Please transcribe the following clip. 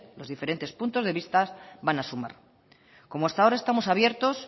los diferentes puntos de vista van a sumar como hasta ahora estamos abiertos